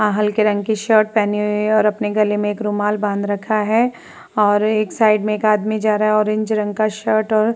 हल्के रंग की शर्ट पहने और अपने गले में एक रुमाल बांध रखा है और एक साइड में एक आदमी जा रहा है ऑरेंज रंग का शर्ट और--